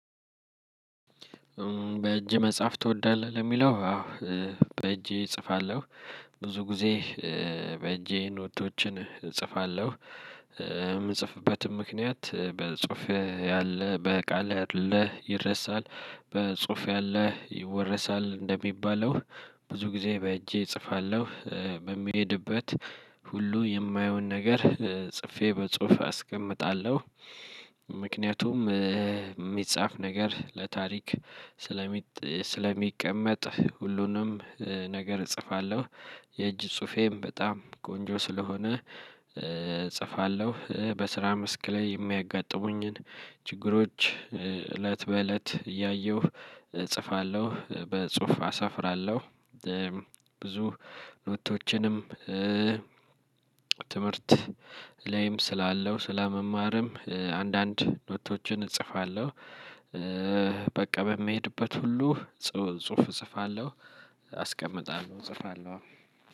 በእጅ መጽሐፍ ትወዳለህ ለሚለው አዎ በእጄ እጽፋለሁ ብዙ ጊዜ በእጄ ኖቶችን እጽፋለሁ። የምጽፍበትም ምክንያት በጽሁፍ ያለ በቃል ያለ ይረሳል። በጽሁፍ ያለ ይወረሳል እንደሚባለው። ብዙ ጊዜ በእጄ እጽፋለሁ በሚሄድበት ሁሉ የማየውን ነገር ጽፌ በጽሁፍ አስቀምጣለሁ። ምክንያቱም የሚጻፍ ነገር ለታሪክ ስለሚቀመጥ ሁሉንም ነገር እጽፋለሁ። የእጅ ጽሁፌም በጣም ቆንጆ ስለሆነ። እጽፋለሁ በስራ መስክ ላይ የሚያጋጥሙኝን ችግሮች እለት በእለት እያየሁ እጽፋለሁ በጽሁፍ አሰፍራለሁ። ብዙ ኖቶችንም ትምህርት ላይም ስላለው ስለመማርም አንዳንድ ኖቶችን እጽፋለሁ። በቃ በመሄድበት ሁሉ ጽሁፍ እጽፋለሁ አስቀምጣለሁ እጽፋለሁ።